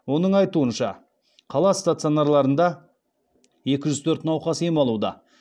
оның айтуынша қала стационарларында екі жүз төрт науқас ем алуда